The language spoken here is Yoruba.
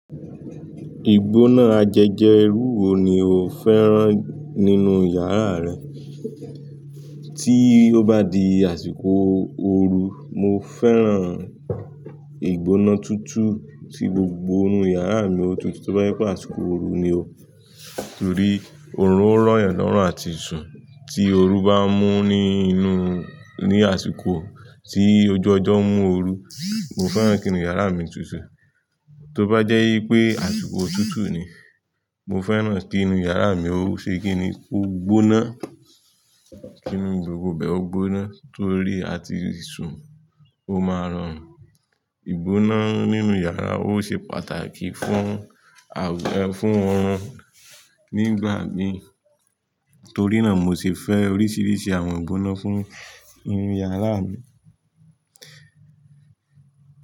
Ìgbóná ajẹjẹ rúu wo ni o fẹ́ràn nínú yàrá rẹ? Tí ó bá di àsìkò ooru, mo fẹ́ràn ìgbóná tutù tí gbogbo inú yàrá mi ó tutù. Tí ó bá jẹ́ pé àsìkò ooru ni o, torí oorun ó ràn yàn lọ́rùn àti ìṣùn, tí ooru bá mú ní inú ní àsìkò tí ojó ọjọ́ mú ooru, mo fẹ́ràn kí inú yàrá mi tutù. Tó bá jẹ́ yí pé àsìkò òtútù ni, mo fẹ́ràn kí inú yàrá mi ó ṣe kí ni ó gbóná, kí inú gbogbo bẹ̀ ó gbóná torí àti ìṣùn ó máa rọrùn. Ìgbóná nínú yàrá ó ṣe pàtàkì fún, fún óorún nígbàmí. Torí náà mo ṣe fẹ́ oríṣiríṣi àwọn ìgbóná fún inú yàrá mi.